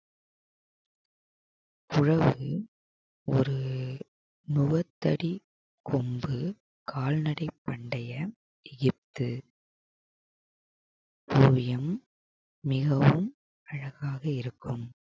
உழவு ஒரு முகத்தடி கொம்பு கால்நடை பண்டைய ஈத்து ஓவியம் மிகவும் அழகாக இருக்கும்